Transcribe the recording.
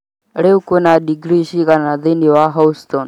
Rĩu kwĩ na digrii cigana thĩinĩ wa Houston